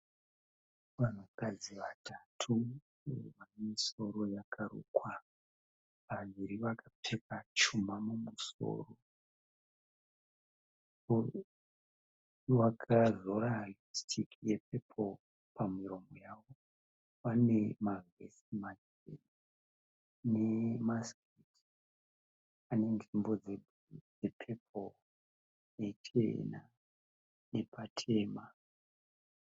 Vanhukadzi vatatu vanemisoro yakarukwa. Vaviri vakapfeka chuma mumusoro. Vakazora ripisitiki yepepoo pamirimo yavo. Vanemavhesi machena nemasiketi anenzvimbo dzepepoo nechena nepatema.